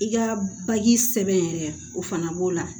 I ka bagi sɛbɛn yɛrɛ o fana b'o la